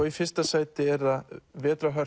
í fyrsta sæti er það